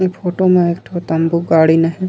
ए photo म एक ठो तम्बू गाड़ीन हे।